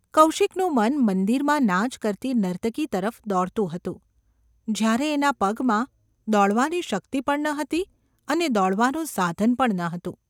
કૌશિકનું મન મંદિરમાં નાચ કરતી નર્તકી તરફ દોડતું હતું, જ્યારે એના પગમાં દોડવાની શક્તિ પણ ન હતી અને દોડવાનું સાધન પણ ન હતું.